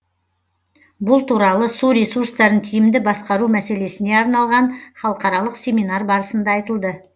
бұл туралы су ресурстарын тиімді басқару мәселесіне арналған халықаралық семинар барысында айтылды